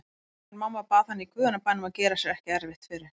En mamma bað hann í guðanna bænum að gera sér ekki erfitt fyrir.